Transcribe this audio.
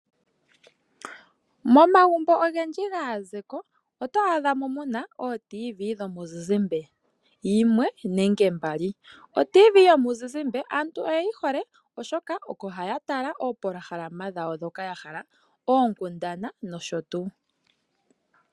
Momagumbo ogendji gaazeko oto adhamo mu na ooradio dhomuzizimbe yimwe nenge mbali. Oradio yomuzizimbe aantu oyeyi hole oshoka oko haya tala oopolohalama dhawo ndhoka ya hala, oonkundana nosho tuu.